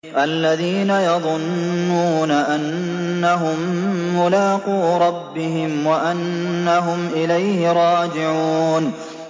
الَّذِينَ يَظُنُّونَ أَنَّهُم مُّلَاقُو رَبِّهِمْ وَأَنَّهُمْ إِلَيْهِ رَاجِعُونَ